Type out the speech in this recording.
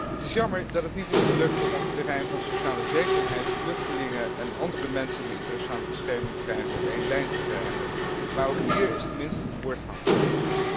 Het is jammer dat het niet is gelukt om op het terrein van sociale zekerheid vluchtelingen en andere mensen die internationale bescherming krijgen, op één lijn te krijgen, maar ook hier is tenminste voortgang geboekt.